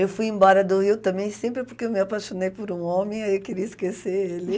Eu fui embora do Rio também sempre porque eu me apaixonei por um homem e aí eu queria esquecer ele.